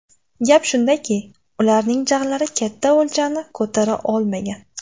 Gap shundaki, ularning jag‘lari katta o‘ljani ko‘tara olmagan.